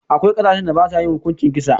Akwai ƙasashen da basa yin hukuncin kisa.